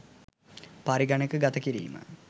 පරිගණකගත කිරීම